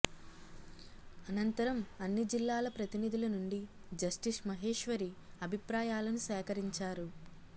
అనంతరం అన్ని జిల్లాల ప్రతినిధుల నుండి జస్టిస్ మహేశ్వరి అభిప్రాయాలను సేకరించారు